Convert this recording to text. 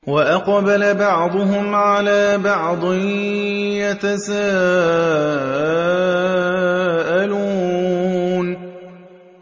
وَأَقْبَلَ بَعْضُهُمْ عَلَىٰ بَعْضٍ يَتَسَاءَلُونَ